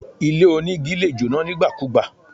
Ilé onígi lè jóná nígbàkugbà